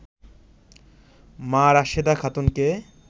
মা রাশেদা খাতুনকে